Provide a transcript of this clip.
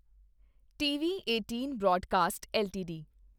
TV18 broadcast LTD